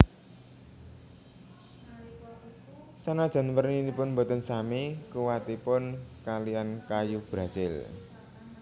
Sanajan werninipun boten sami kuwatipun kalihan kayu brazil